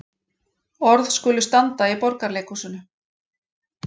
Orð skulu standa í Borgarleikhúsinu